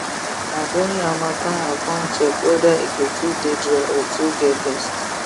na during hatmattan i come check weda e go too dey dry or too get dust